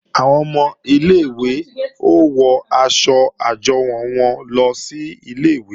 Àwọn ọmọ ilé-ìwé ó wọ aṣọ àjọwò wọn lọ sílé ìwé